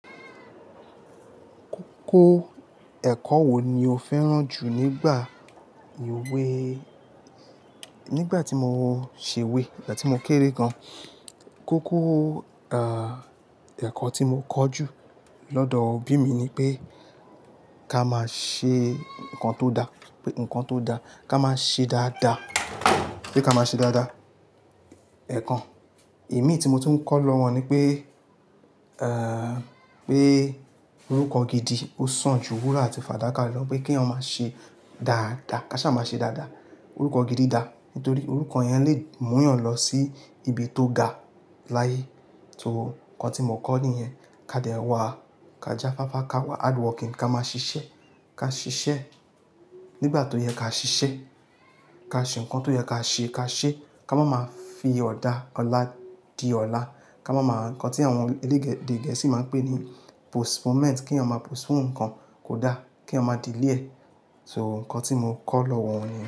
Kókó ẹ̀kọ́ wo ni o fẹ́ràn jù nígbà ewé? Nígbà tí mo ṣe wé, nígbà tí mo kéré gan, kókó, ah, ẹ̀kọ́ tí mo kọ́ jù lọ́dọ̀ òbí mi ni pé, ká máa ṣe nǹkan tó dá, pé nǹkan tó dá ká máa ṣe dáadáa, pé ká máa ṣe dáadáa. Ẹ̀kan, imi tí mo tún ń kọ́ lọ́wọ́ wọn ni pé, eh, pé orúkọ gidi ò sàn jù wúrà àti fàdákà lọ, pé kí èèyàn máa ṣe dáadáa, káṣá máa ṣe dáadáa. Orúkọ gidi dà nítorí orúkọ yẹn lè mú yán lọ sí ibi tó ga láyé. So, nǹkan tí mo kọ́ nìyẹn. Ká dẹ wà, ká jafáfá ká wá hard working ká máa ṣiṣẹ́, ká ṣiṣẹ́ nígbà tó yẹ ká ṣiṣẹ́, ká ṣe nǹkan tó yẹ ká ṣe ká ṣe, ká má máa fi ọ̀la dí ọ̀la, ká má máa nǹkan tí àwọn eléède Gẹ̀ẹ́sì máa ń pè ní postponement, kí a má postpone nǹkan kò dá, kí èèyàn má delay e. So, nǹkan tí mo kọ́ lọ́wọ́ wọn nìyẹn.